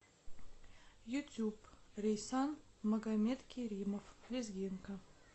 ютуб рейсан магомедкеримов лезгинка